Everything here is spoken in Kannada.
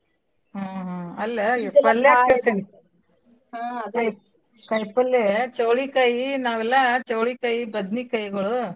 ಹ್ಮ್ ಹ್ಮ್ ಅಲ್ಲಾ ಈ ಕೇಳ್ತೀನಿ ಕಾಯ್ಪಲ್ಲೇ ಚವ್ಳಿಕಾಯಿ ನಾವೆಲ್ಲಾ ಚವ್ಳಿಕಾಯಿ ಬದ್ನಿಕಾಯ್ಗಳು.